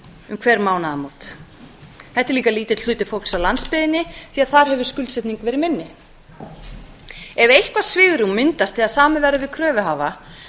um hver mánaðamót þetta er líka lítill hluti fólks á landsbyggðinni því að þar hefur skuldsetning verið minni ef eitthvert svigrúm myndast þegar samið verður við kröfuhafa þá